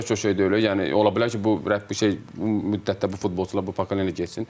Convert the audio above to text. Tək o şey deyil, yəni ola bilər ki, bu rəhbər bu şey müddətdə bu futbolçular, bu pakleniyalar getsin.